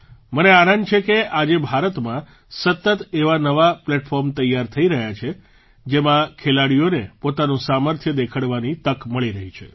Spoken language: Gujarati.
મને આનંદ છે કે આજે ભારતમાં સતત એવાં નવા પ્લેટફૉર્મ તૈયાર થઈ રહ્યા છે જેમાં ખેલાડીઓને પોતાનું સામર્થ્ય દેખાડવાની તક મળી રહી છે